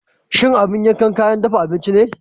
Shin abin yanka kayan dafa abinci ne?